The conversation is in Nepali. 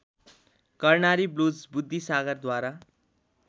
कर्णाली ब्लुज बुद्धिसागरद्वारा